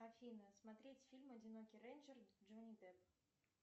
афина смотреть фильм одинокий рейнджер джонни депп